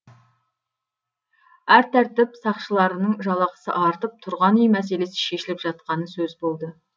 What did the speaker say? әрі тәртіп сақшыларының жалақысы артып тұрғын үй мәселесі шешіліп жатқаны сөз болды